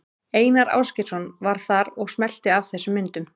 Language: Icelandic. Einar Ásgeirsson var þar og smellti af þessum myndum.